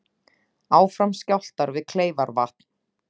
Áfram skjálftar við Kleifarvatn